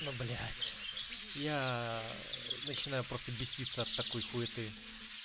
ну блять я начинаю просто беситься от такой хуеты